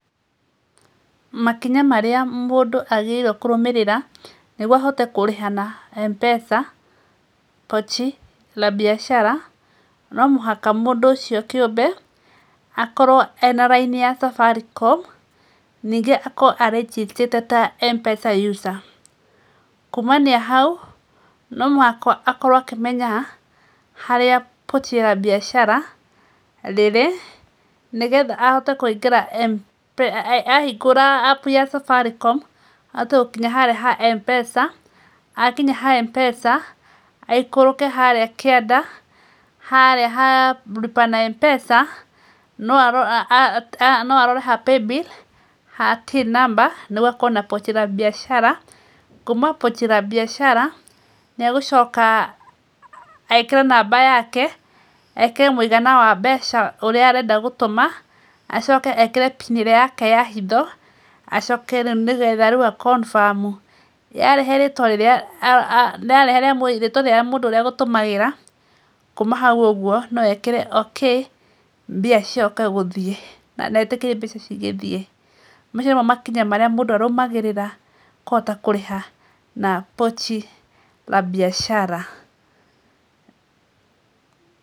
Makinya marĩa mũndũ agĩrĩirwo kũrũmĩrĩra nĩguo ahote kũrĩha na MPESA Pochi La Biashara, no mũhaka mũndũ ũcio kĩũmbe akorwo na raini ya Safaricom, ningĩ akorwo registered ta MPESA user. Kumania hau no mũhaka akorwo akĩmenya harĩa Pochi La Biashara rĩrĩ nĩgetha ahote kũingĩra MPESA ahingũra App ya Safaricom ahote gũkinya harĩa ha MPESA. Akinya ha MPESA, aikũrũke harĩa kĩanda harĩa ha Lipa Na Mpesa no arore ha Pay Bill ha Till Number nĩguo ekuona Pochi La Biashara. Kuuma Pochi La Biashara nĩ egũcoka ekĩre namba yake, ekĩre mũigana wa mbeca ũrĩa arenda gũtũma, acoke ekĩre PIN ĩrĩa yake ya hitho, acoke rĩu nĩgetha rĩu a confirm. Yarehe rĩtwa rĩa mũndũ ũrĩa egũtũmagĩra kuuma hau ũguo no eĩire OK mbia cicoke gũthiĩ na etĩkĩre mbeca cigĩthiĩ. Macio nĩmo makinya marĩa mũndũ arũmagĩrĩra kũhota kũrĩha na Pochi La Biashara.